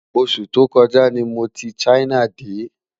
osù tó kò ja ní mọ tí China dé